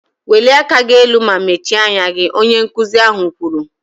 Welie aka gị elu ma mechie anya gị! Onye nkụzi ahụ kwuru